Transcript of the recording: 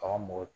Bagan mɔgɔ